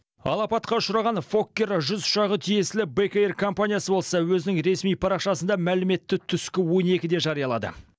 ал апатқа ұшыраған фоккер жүз ұшағы тиесілі бек эйр компаниясы болса өзінің ресми парақшасында мәліметті түскі он екіде жариялады